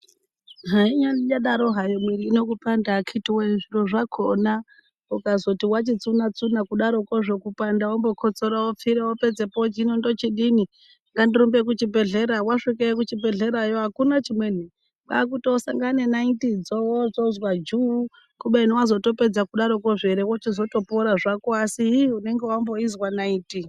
Hainyanadaro hayo mwiri ino kupanda akiti woye zviro zvakona ukazoti wachitsunatsuna kudarokozvo kupanda wombokotsora wopfira wopedzepo woti hino ndochidini ngandirumbe kuchibhehleya wasvikeyo kuchibhehlerayo wochidini akuna chimweni kwaakutosangane nenaitidzo wozozwajuuu!kubeni wazotopedza kudarokozvo ere wochizotopora zvako asi ii unonga wamboizwa naiti.